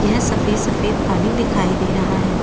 यह सफ़ेद-सफ़ेद पानी दिखाई दे रहा है।